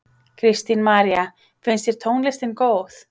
Kristín María: Finnst þér tónlistin góð?